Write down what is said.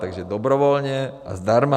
Takže dobrovolně a zdarma.